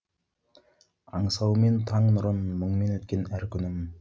аңсауменен таң нұрын мұңмен өткен әр күнім